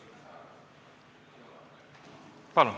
Palun!